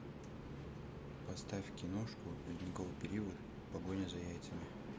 поставь киношку ледниковый период погоня за яйцами